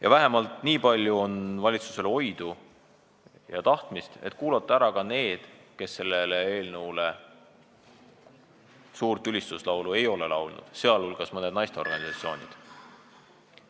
Ja valitsusel võiks olla vähemalt nii palju oidu ja tahtmist, et kuulata ära ka need, kes sellele eelnõule suurt ülistuslaulu ei ole laulnud, sealhulgas mõned naisteorganisatsioonid.